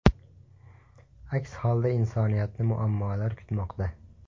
Aks holda insoniyatni muammolar kutmoqda.